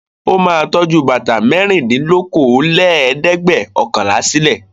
Ó máa tọ́jú bàtà mẹ́rìndínlókòólẹ́ẹ̀dẹ́gbẹ̀ọ̀kànlá náà sílé.